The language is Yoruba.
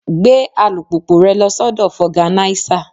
Gbé alùpùpù rẹ lọ sọ́dọ̀ foganisa.